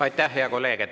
Aitäh, hea kolleeg!